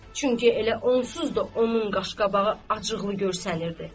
Çünki elə onsuz da onun qaşqabağı acıqlı görsənirdi.